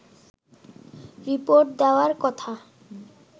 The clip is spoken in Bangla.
রিপোর্ট দেয়ার কথা